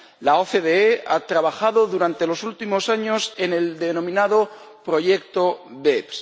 La OCDE ha trabajado durante los últimos años en el denominado proyecto BEPS.